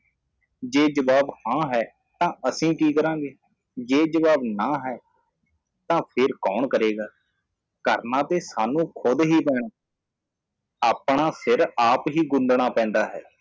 ਜੇ ਜਵਾਬ ਹਾਂ ਹੈ ਤਾਂ ਅਸੀਂ ਕਿ ਕਰਾਂਗੇ ਜੇ ਜਵਾਬ ਨਾਂ ਹੈ ਤਾਂ ਫਿਰ ਕੌਣ ਕਰੇਗਾ ਕਰਣਾ ਤੇ ਸਾਨੂੰ ਖੁੱਦ ਹੀ ਪੈਣਾ ਆਪਣਾ ਸਿਰ ਆਪ ਹੀ ਗੁੰਦਣਾ ਪੈਂਦਾ ਹੈ